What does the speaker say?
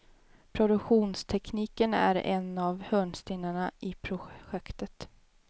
Produktionstekniken är en av hörnstenarna i projektet.